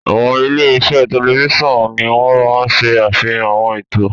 Àwọn ilé-iṣẹ́ tẹlifíṣàn ni wọ́n máa ń ṣe àfihàn àwọn ètò.